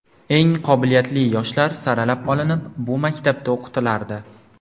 Eng qobiliyatli yoshlar saralab olinib, bu maktabda o‘qitilardi.